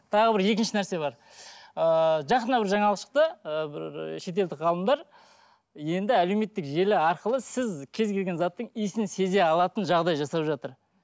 тағы бір екінші нәрсе бар ыыы жақында бір жаңалық шықты ыыы шетелдік ғалымдар енді әлеуметтік желі арқылы сіз кез келген заттың иісін сезе алатын жағдай жасап жатыр